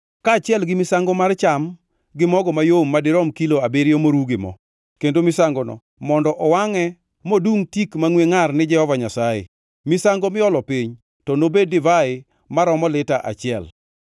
kaachiel gi misango mar cham gi mogo mayom madirom kilo abiriyo moruw gi mo. Kendo misangono mondo owangʼe modungʼ tik mangʼwe ngʼar ni Jehova Nyasaye. Misango miolo piny to obed divai maromo lita achiel.